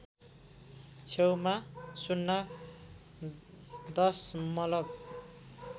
छेउमा ० दशमलव